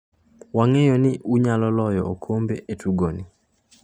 "Wang'eyo ni unyalo loyo okombe e tugoni."